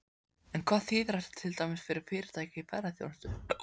En hvað þýðir þetta til dæmis fyrir fyrirtæki í ferðaþjónustu?